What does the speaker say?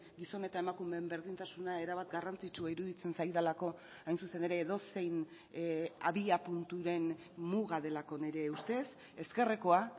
gizon eta emakumeen berdintasuna erabat garrantzitsua iruditzen zaidalako hain zuzen ere edozein abiapunturen muga delako nire ustez ezkerrekoa